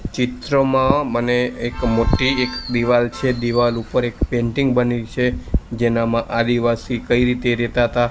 ચિત્રમાં મને એક મોટ્ટી એક દીવાલ છે દીવાલ ઉપર એક પેન્ટિંગ બની છે જેનામાં આદિવાસી કઈ રીતે રેતા અતા--